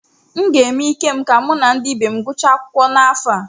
M ga-eme ike m ka mụ na ndị ibe m gụchaa akwụkwọ n’afọ a.